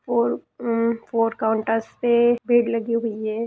Four um four counters पे भीड़ लगी हुई है।